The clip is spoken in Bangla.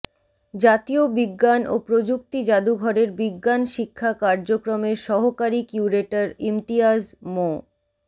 জাতীয় বিজ্ঞান ও প্রযুক্তি জাদুঘরের বিজ্ঞান শিক্ষা কার্যক্রমের সহকারী কিউরেটর ইমতিয়াজ মো